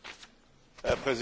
Herr Präsident!